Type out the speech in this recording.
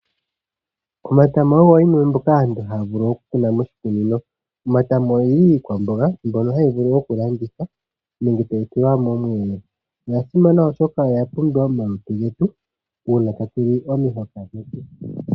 Omatama ogo yimwe mbyoka aantu haya vulu okukuna miikunino. Omatama ogeli iikwamboga mbyono hayi vulu okulandithwa nenge tayi tulwa momweelelo. Oga simana oshoka oya pumbiwa momalutu getu uuna tatu li omihoka dhetu.